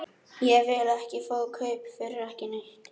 Ég vil ekki fá kaup fyrir ekki neitt.